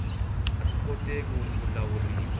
a swi koteki ku lawuriwa